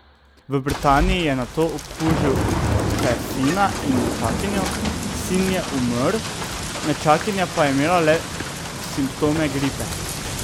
V Britaniji je nato okužil še sina in nečakinjo, sin je umrl, nečakinja pa je imela le simptome gripe.